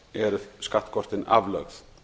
eru skattkortin aflögð